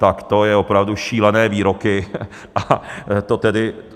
Tak to jsou opravdu šílené výroky a to tedy...